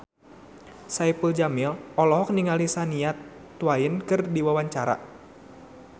Saipul Jamil olohok ningali Shania Twain keur diwawancara